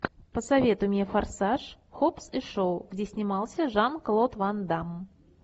посоветуй мне форсаж хоббс и шоу где снимался жан клод ван дамм